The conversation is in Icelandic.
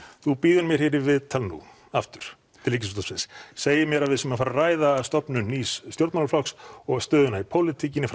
þú býður mér hér í viðtal nú aftur til Ríkisútvarpsins segir mér að við séum að fara að ræða stofnun nýs stjórnmálaflokks og stöðuna í pólitíkinni